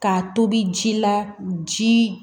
K'a tobi ji la ji